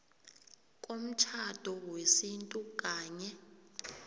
komtjhado wesintu kanye